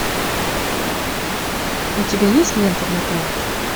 у тебя есть лента нокаут